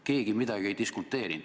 Keegi midagi ei diskuteerinud.